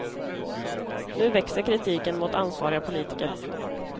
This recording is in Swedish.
Nu växer kritiken mot ansvariga politiker.